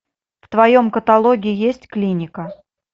в твоем каталоге есть клиника